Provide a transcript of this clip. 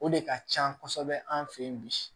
O de ka can kosɛbɛ an fɛ yen bi